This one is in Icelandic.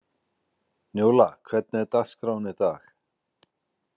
Njóla, hvernig er dagskráin í dag?